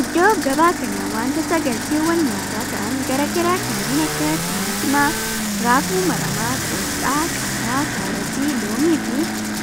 Iddoo gabaa kana wantoota galteewwan nyaataa ta'aan garaa garaa kanneen akka timaatima, raafuu maramaa, qoosxaa, qaaraa, kaarotii, loomii fi